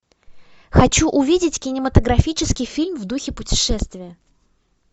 хочу увидеть кинематографический фильм в духе путешествия